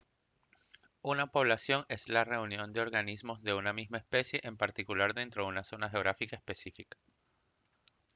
una población es la reunión de organismos de una misma especie en particular dentro una zona geográfica específica